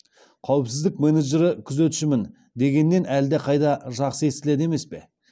қауіпсіздік менеджері күзетшімін дегеннен әлдеқайда жақсы естіледі емес пе